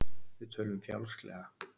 Við tölum fjálglega.